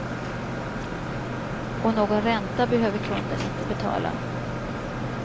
Och någon ränta behöver kunden inte betala.